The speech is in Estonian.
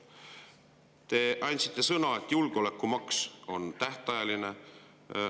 Te andsite sõna, et julgeolekumaks on tähtajaline.